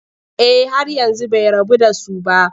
Eh har yanzu bai rabu da su ba.